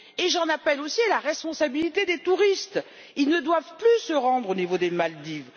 J'en appelle aussi à la responsabilité des touristes ils ne doivent plus se rendre aux Maldives.